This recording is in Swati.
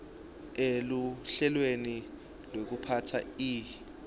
eluhlelweni lwekuphatsa ihi